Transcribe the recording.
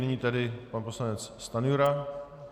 Nyní tedy pan poslanec Stanjura.